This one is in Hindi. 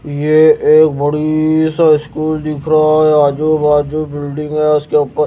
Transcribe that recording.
यह एक बड़ी सा स्कूल दिख रहा है आजू बाजू बिल्डिंग है इसके ऊपर--